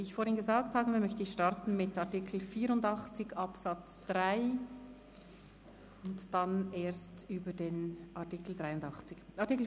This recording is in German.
Wie ich vorhin gesagt habe, möchte ich mit Artikel 84 Absatz 3 beginnen und danach über den Artikel 83 abstimmen.